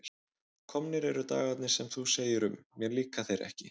Komnir eru dagarnir sem þú segir um: mér líka þeir ekki.